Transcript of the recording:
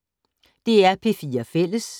DR P4 Fælles